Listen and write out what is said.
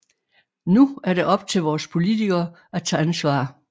Nu er det op til vores politikere at tage ansvar